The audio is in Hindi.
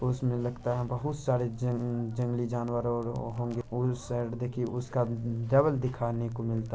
उसमें लगता है बहोत सारे जंग-- जंगली जानवर और होंगे उस साइड देखिये उसका उम्म- डबल दिखाने को मिलता--